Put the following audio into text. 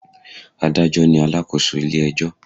Adájọ́ ni alakoso ilé ẹjọ́